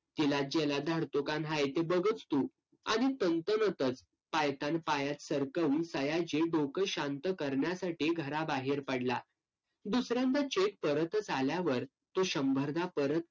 तिलाच जेलात धाडतो का न्हाई बघच तू. आणि पायतान पायात सरकवून सया जे डोकं शांत करण्यासाठी घराबाहेर पडला. दुसऱ्यांदा cheque परतच आल्यावर तो शंभरदा परत